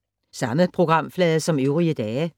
Samme programflade som øvrige dage